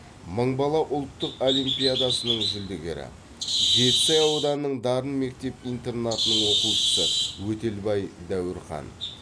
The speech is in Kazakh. мың бала ұлттық олимпиадасының жүлдегері жетісай ауданының дарын мектеп интернатының оқушысы өтелбай дәуірхан